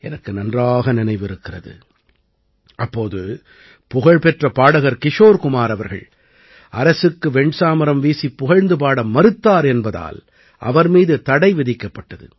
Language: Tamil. எனக்கு நன்றாக நினைவிருக்கிறது அப்போது புகழ்பெற்ற பாடகர் கிஷோர் குமார் அவர்கள் அரசுக்கு வெண்சாமரம் வீசிப் புகழ்ந்துபாட மறுத்தார் என்பதால் அவர் மீது தடை விதிக்கப்பட்டது